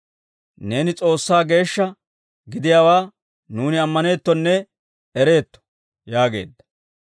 Neeni S'oossaa Geeshsha gidiyaawaa nuuni ammaneettonne ereetto» yaageedda.